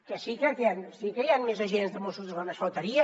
que sí que sí que hi han més agents de mossos només faltaria